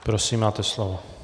Prosím, máte slovo.